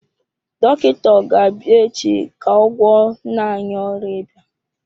Dọkịta ọ ga-abịa echi ka ọ gwọọ nna anyị ọrịa ịba?